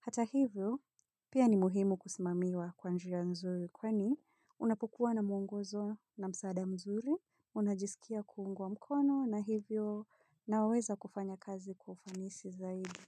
Hata hivyo, pia ni muhimu kusimamiwa kwa njia nzuri kwani unapokuwa na mwongozo na msaada mzuri, unajisikia kuungwa mkono na hivyo nawaweza kufanya kazi kwa ufanisi zaidi.